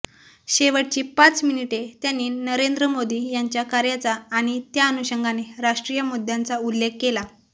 शेवटची पाच मिनिटे त्यांनी नरेंद्र मोदी यांच्या कार्याचा आणि त्याअनुषंगाने राष्ट्रीय मुद्द्यांचा उल्लेख केला